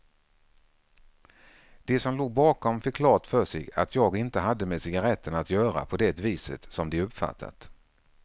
De som låg bakom fick klart för sig att jag inte hade med cigaretterna att göra på det viset som de uppfattat.